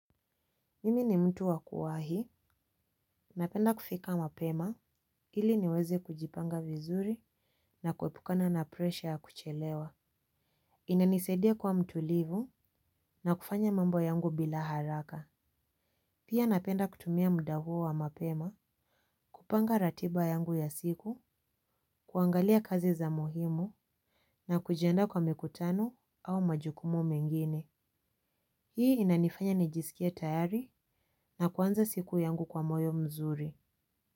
Mimi ni mtu wakuwa hii. Napenda kufika mapema ili niweze kujipanga vizuri na kuepukana na presha ya kuchelewa. Inanisaidia kuwa mtulivu na kufanya mambo yangu bila haraka. Pia napenda kutumia muda huo wa mapema kupanga ratiba yangu ya siku kuangalia kazi za muhimu na kujiandaa kwa mikutano au majukumu mengine. Hii inanifanya nijisikie tayari na kuanza siku yangu kwa moyo mzuri Muzika.